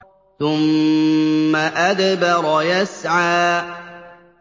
ثُمَّ أَدْبَرَ يَسْعَىٰ